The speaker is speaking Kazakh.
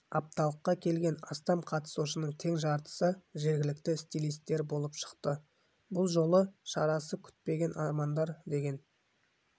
апталыққа келген астам қатысушының тең жартысы жергілікті стилистер болып шықты бұл жолы шарасы күтпеген армандар деген